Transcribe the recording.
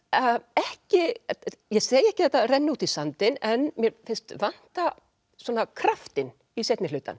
ekki ég segi ekki að þetta renni út í sandinn en mér finnst vanta kraftinn í seinni hlutann